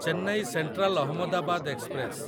Chennai central Ahmedabad express